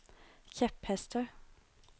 kjepphester